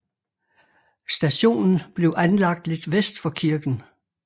Stationen blev anlagt lidt vest for kirken